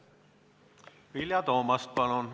Vilja Toomast, palun!